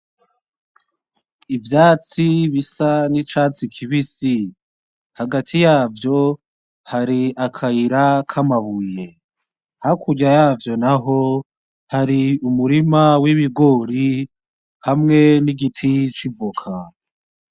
Ivyatsi bisa nicatsi kibisi, hagati yavyo hari akayira kamabuye hakurya yavyo naho hari umurima wibigori hamwe nigiti c'ivoka.